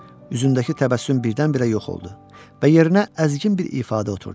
Üzündəki təbəssüm birdən-birə yox oldu və yerinə əzgin bir ifadə oturdu.